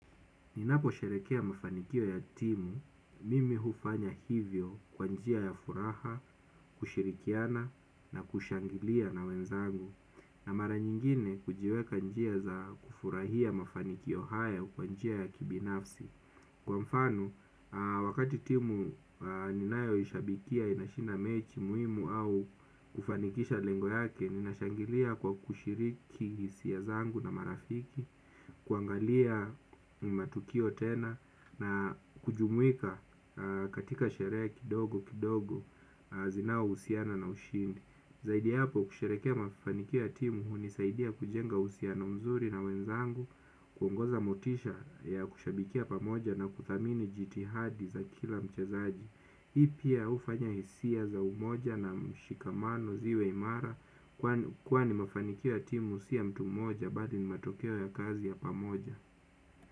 Ninapo sherehekea mafanikio ya timu mimi hufanya hivyo kwa njia ya furaha, kushirikiana na kushangilia na wenzangu. Na mara nyingine hujiweka njia za kufurahia mafanikio hayo kwa njia ya kibinafsi kwa mfano wakati timu ninayo ishabikia inashinda mechi muhimu au kufanikisha lengo yake. Ninashangilia kwa kushiriki hisia zangu na marafiki. Kuangalia ni matukio tena na kujumuika katika sherehe kidogo kidogo zinao husiana na ushindi. Zaidi ya hapo kusherehekea mafanikio ya timu hunisaidia kujenga uhusiano mzuri na wenzangu. Kuongoza motisha ya kushabikia pamoja na kuthamini jitihadi za kila mchezaji. Hii pia hufanya hisia za umoja na mshikamano ziwe imara. Kwa ni mafanikio ya timu si ya mtu moja. Bali ni matokeo ya kazi ya pamoja.